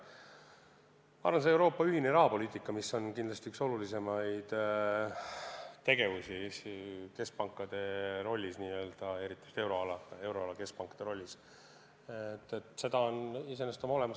Ma arvan, et Euroopa ühist rahapoliitikat, mis on kindlasti üks kõige olulisemaid teemasid keskpankade tegevuses, eriti just euroala keskpankade tegevuses, on iseenesest hästi aetud.